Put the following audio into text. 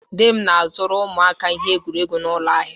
Di m na-azụrụ ụmụaka ihe egwuregwu n'ụlọ ahịa.